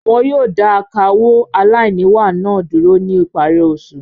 Wọn yóò dà akawó aláìníwà náà dúró ní ìparí oṣù.